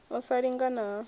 u sa lingana na ha